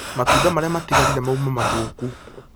Matunda marĩa matigarire mauma mathũku